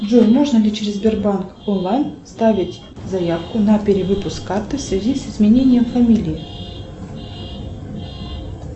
джой можно ли через сбербанк онлайн оставить заявку на перевыпуск карты в связи с изменением фамилии